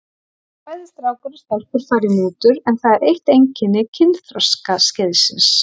Bæði strákar og stelpur fara í mútur en það er eitt einkenni kynþroskaskeiðsins.